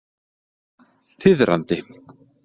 Þiðrandi